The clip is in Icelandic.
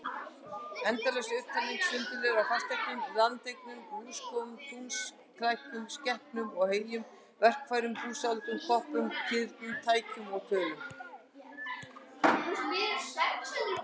Endalaus upptalning og sundurliðun á fasteignum og landareign, húskofum og túnskæklum, skepnum og heyjum, verkfærum og búsáhöldum, koppum og kirnum, tækjum og tólum.